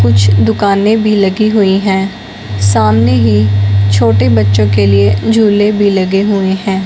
कुछ दुकाने भी लगी हुई हैं सामने ही छोटे बच्चों के लिए झूले भी लगे हुए हैं।